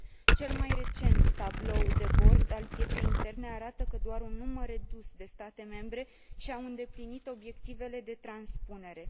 Cel mai recent tablou de bord al pieței interne arată că doar un număr redus de state membre și au îndeplinit obiectivele de transpunere.